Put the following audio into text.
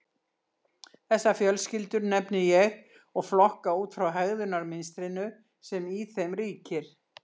Þessar fjölskyldur nefni ég og flokka út frá hegðunarmynstrinu sem í þeim ríkir.